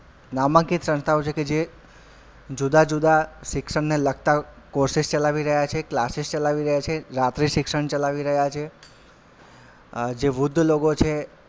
નામાંકીય સંસ્થાઓ છે કે જે જુદા જુદા શિક્ષણને લગતા courses ચલાવી રહ્યાં છે classes ચલાવી રહ્યાં છે રાત્રી શિક્ષણ ચલાવી રહ્યાં છે અ જે વૃદ્ધ લોકો છે.